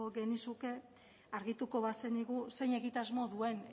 genizuke argituko bazenigu zein egitasmo duen